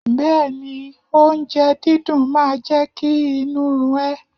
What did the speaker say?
Bẹ́ẹ̀ni, oúnjẹ dídùn máa jẹ́ kí inú run ẹ.